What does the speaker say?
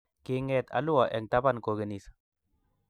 Kinget alua eng taban kokenis